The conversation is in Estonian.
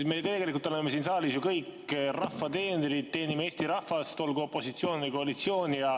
Me tegelikult oleme siin saalis ju kõik rahva teenrid, teenime Eesti rahvast, olgu me opositsioonis või koalitsioonis.